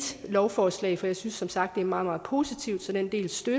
lovforslag for jeg synes som sagt det er meget meget positivt så den del støtter